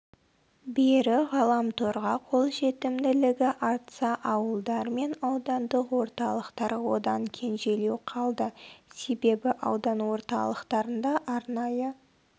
бері ғаламторға қолжетімділігі артса ауылдар мен аудандық орталықтар одан кенжелеу қалды себебі аудан орталықтарында арнайы